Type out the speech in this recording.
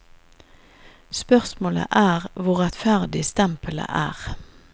Spørsmålet er hvor rettferdig stempelet er.